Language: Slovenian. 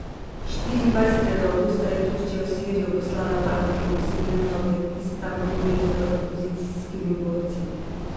Štiriindvajsetega avgusta je Turčija v Sirijo poslala tanke in posebne enote, ki se tam borijo z opozicijskimi borci.